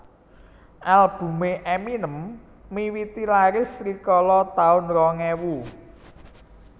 Albume Eminem miwiti laris rikala taun rong ewu